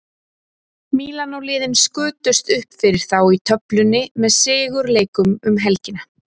Mílanó liðin skutust uppfyrir þá í töflunni með sigur leikum um helgina.